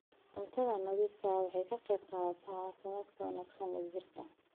Cunto nadiif ah waxay ka qaybqaadataa caafimaadka wanaagsan ee jidhka.